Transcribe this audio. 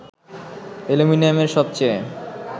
অ্যালুমিনিয়ামের সবচেয়ে